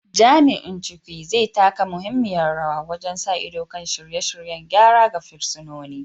Jami’in Chukwu, zai taka muhimmiyar rawa wajen sa ido kan shirye-shiryen gyara ga fursunoni.